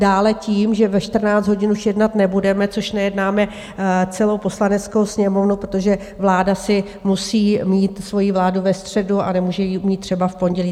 Dále tím, že ve 14 hodin už jednat nebudeme, což nejednáme celou Poslaneckou sněmovnu, protože vláda si musí mít svoji vládu ve středu a nemůže ji mít třeba v pondělí.